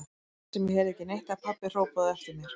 Lét sem ég heyrði ekki neitt þegar pabbi hrópaði á eftir mér.